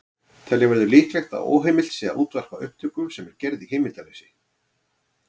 Telja verður líklegt að óheimilt sé að útvarpa upptöku sem er gerð í heimildarleysi.